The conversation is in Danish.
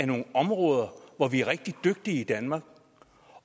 nogle områder hvor vi er rigtig dygtige i danmark